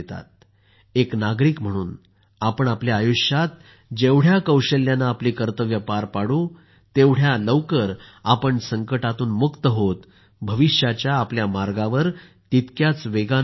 एक नागरिक म्हणून आपण आपल्या आयुष्यात जेवढ्या कौशल्याने आपली कर्तव्ये पार पाडू तेवढ्या लवकर आपण संकटातून मुक्त होत भविष्याच्या आपल्या मार्गांवर तितक्याच वेगाने आपण पुढे जाऊ